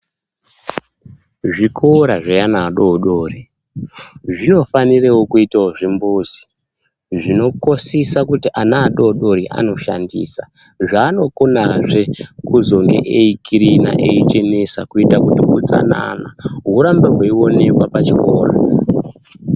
Zvikora zveana adodori zvinofanira kuitawo zvimbuzi zvinokosisa kuti ana adodori anoshandisa zvaanokonazve kuzonga eikirina eichenesa kuite kuti utsanana hurambe hweionekwa pachikora.